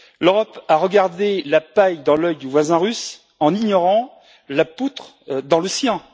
L'Europe a regardé la paille dans l'œil du voisin russe, en ignorant la poutre dans le sien.